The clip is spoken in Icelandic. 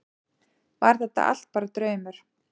Var þetta allt bara draumur?